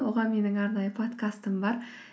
оған менің арнайы подкастым бар